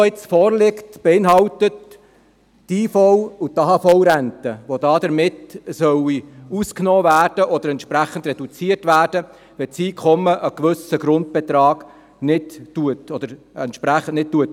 Die vorliegende Motion beinhaltet die IV- und die AHV-Rente, welche davon ausgenommen oder entsprechend reduziert werden sollen, sofern das Einkommen einen gewissen Grundbetrag nicht erreicht.